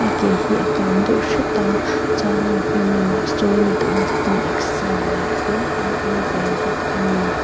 a ke hi a kang deuh hrut a chuanin a hnung lamah sawn midangte pawn exer lain an awm ve bawk a ni.